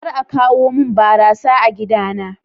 Kar a kawo mun barasa a gidana.